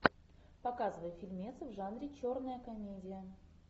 показывай фильмец в жанре черная комедия